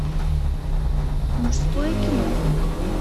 мужское кино